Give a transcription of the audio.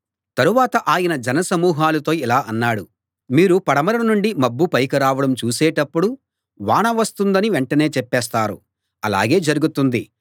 తరవాత ఆయన జనసమూహాలతో ఇలా అన్నాడు మీరు పడమర నుండి మబ్బు పైకి రావడం చూసేటప్పుడు వాన వస్తుందని వెంటనే చెప్పేస్తారు అలాగే జరుగుతుంది